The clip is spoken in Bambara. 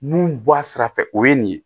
Mun bɔ a sira fɛ o ye nin ye